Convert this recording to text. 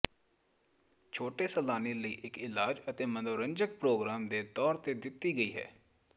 ਛੋਟੇ ਸੈਲਾਨੀ ਲਈ ਇੱਕ ਇਲਾਜ ਅਤੇ ਮਨੋਰੰਜਕ ਪ੍ਰੋਗਰਾਮ ਦੇ ਤੌਰ ਤੇ ਦਿੱਤੇ ਗਏ ਹਨ